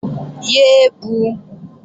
Yé é bu!